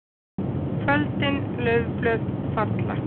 KVÖLDIN LAUFBLÖÐ FALLA.